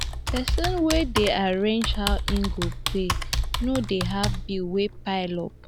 pesin wey dey arrange how im go pay no dey have bills wey pile up